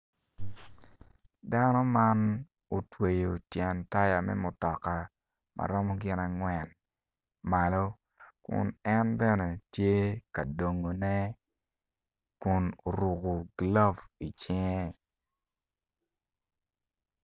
Dano man otweyo tyen taya me mutoka ma rom gin angwen malo kun en bene tye ka dongone kun oruko glove i cinge